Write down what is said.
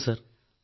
ഉവ്വ് സർ